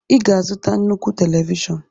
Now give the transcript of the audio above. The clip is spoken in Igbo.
ị ga-azụta nnukwu télévishọn